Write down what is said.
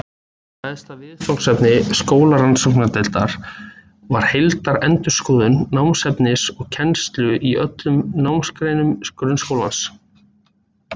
Stærsta viðfangsefni skólarannsóknadeildar var heildarendurskoðun námsefnis og kennslu í öllum námsgreinum grunnskólans.